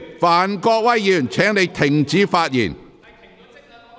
范國威議員，請停止發言。